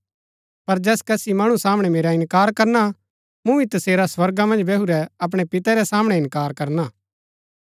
पर जैस कसी मणु सामणै मेरा इन्कार करना मूँ भी तसेरा स्वर्गा मन्ज बैहुरै अपणै पिते रै सामणै इन्कार करना